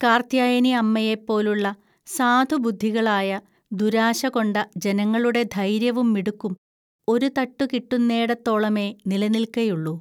കാർത്ത്യായനിഅമ്മയെപ്പോലുള്ള സാധുബുദ്ധികളായ, ദുരാശകൊണ്ട ജനങ്ങളുടെ ധൈര്യവും മിടുക്കും ഒരു തട്ടുകിട്ടുന്നേടത്തോളമേ നിലനിൽക്കയുള്ളു